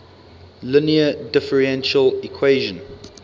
linear differential equation